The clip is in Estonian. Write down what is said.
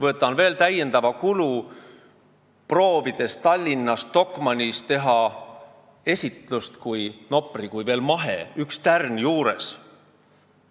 Olen võtnud täiendavat kulu ja proovinud Tallinnas Stockmannis teha esitlust Nopri kui mahetootja kohta, nii et üks tärn on juures.